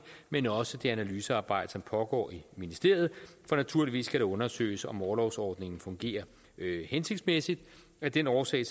men også det analysearbejde som pågår i ministeriet for naturligvis skal det undersøges om orlovsordningen fungerer hensigtsmæssigt af den årsag